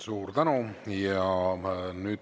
Suur tänu!